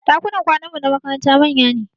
Ɗakunan kwananmu na makaranta manya ne